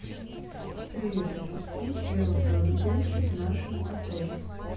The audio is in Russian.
привет ассистент велопрогулки в нашем отеле